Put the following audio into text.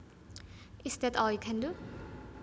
Is that all you can do